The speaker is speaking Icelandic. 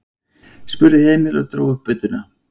spurði Emil og dró upp budduna.